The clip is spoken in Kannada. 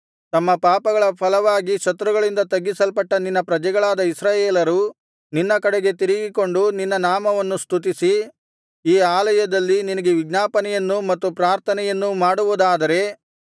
ತಮ್ಮ ಪಾಪಗಳ ಫಲವಾಗಿ ಶತ್ರುಗಳಿಂದ ತಗ್ಗಿಸಲ್ಪಟ್ಟ ನಿನ್ನ ಪ್ರಜೆಗಳಾದ ಇಸ್ರಾಯೇಲರು ನಿನ್ನ ಕಡೆಗೆ ತಿರುಗಿಕೊಂಡು ನಿನ್ನ ನಾಮವನ್ನು ಸ್ತುತಿಸಿ ಈ ಆಲಯದಲ್ಲಿ ನಿನಗೆ ವಿಜ್ಞಾಪನೆಯನ್ನು ಮತ್ತು ಪ್ರಾರ್ಥನೆಯನ್ನೂ ಮಾಡುವುದಾದರೆ